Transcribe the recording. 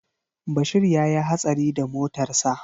Bashir ya yi hatsari da motarsa